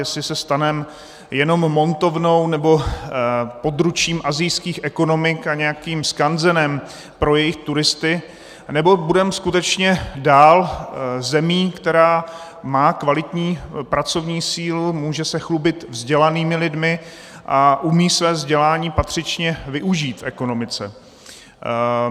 Jestli se staneme jenom montovnou nebo područím asijských ekonomik a nějakým skanzenem pro jejich turisty, nebo budeme skutečně dál zemí, která má kvalitní pracovní sílu, může se chlubit vzdělanými lidmi a umí své vzdělání patřičně využít v ekonomice.